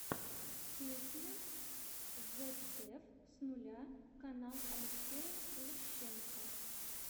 песня вэбдев с нуля канал алексея лущенко